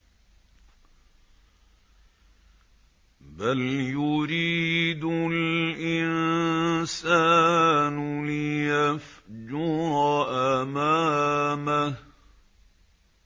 بَلْ يُرِيدُ الْإِنسَانُ لِيَفْجُرَ أَمَامَهُ